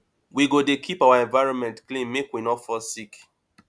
we go dey keep our environment clean make we no fall sick